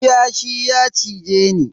Kiyashi ya cize ni.